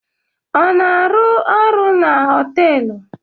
Ọ na-arụ ọrụ na họtelụ?